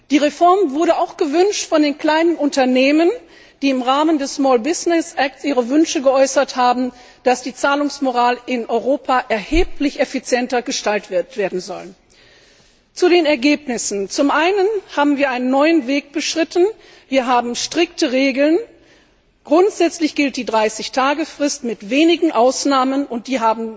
Die Reform wurde auch von den kleinen Unternehmen gewünscht, die im Rahmen des Small Business Act ihre Wünsche geäußert haben, dass die Zahlungsmoral in Europa erheblich effizienter gestaltet werden soll. Zu den Ergebnissen Zum einen haben wir einen neuen Weg beschritten. Wir haben strikte Regeln. Grundsätzlich gilt die 30 Tage Frist mit wenigen Ausnahmen, und